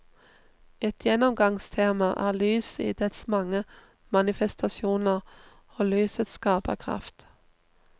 Et gjennomgangstema er lyset i dets mange manifestasjoner, og lysets skaperkraft.